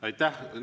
Aitäh!